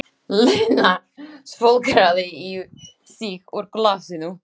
Lena svolgraði í sig úr glasinu.